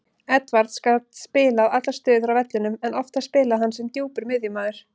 Edwards gat spilað allar stöður á vellinum en oftast spilaði hann sem djúpur miðjumaður.